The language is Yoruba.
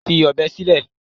Fi ọ̀bẹ sílẹ̀!